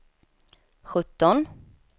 sjutton